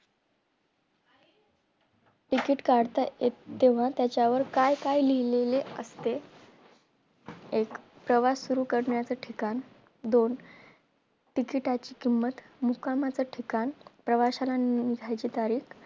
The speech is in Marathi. TICKET काढता येते तेव्हा त्यावर काय काय लिहलेले असते एक प्रवास सुरु करण्याचे ठिकाण दोन TICKET ची किंमत मुक्कामाचा ठिकाण प्रवासाना निघण्याचे तारीख